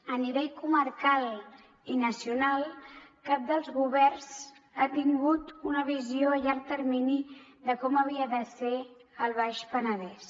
a nivell comarcal i nacional cap dels governs ha tingut una visió a llarg termini de com havia de ser el baix penedès